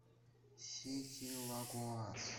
сети лагоас